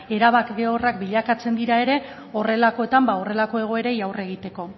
erabat bilakatzek dira ere horrelakoetan ba horrelako egoerei aurre egiteko